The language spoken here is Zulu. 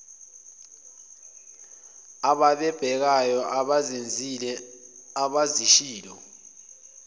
abababhekayo abazenzile abazishilo